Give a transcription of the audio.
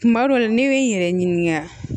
Kuma dɔ la ne ye n yɛrɛ ɲininka